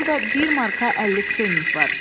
Burda bir marka əlli pfenik var.